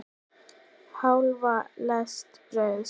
Hálfa lest brauðs.